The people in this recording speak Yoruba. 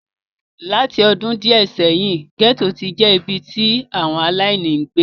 Láti ọdún díẹ̀ sẹ́yìn, gẹ́tò ti ń je ibi tí àwọn aláìní ń gbé.